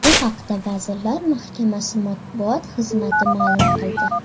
Bu haqda Vazirlar Mahkamasi matbuot xizmati ma’lum qildi .